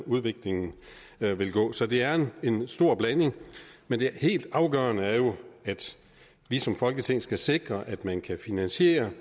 udviklingen vil gå så det er en stor blanding men det helt afgørende er jo at vi som folketing skal sikre at man kan finansiere